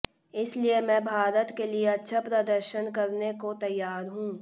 इसलिए मैं भारत के लिए अच्छा प्रदर्शन करने को तैयार हूं